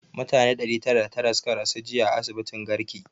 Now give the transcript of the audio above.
Mutane ɗari tara da tara suka rasu jiya a asibitin garki